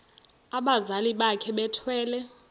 abazali bakhe bethwele